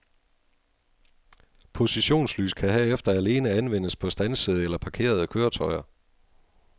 Positionslys kan herefter alene anvendes på standsede eller parkerede køretøjer.